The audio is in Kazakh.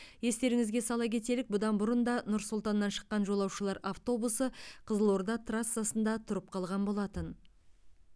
естеріңізге сала кетелік бұдан бұрын да нұр сұлтаннан шыққан жолаушылар автобусы қызылорда трассасында тұрып қалған болатын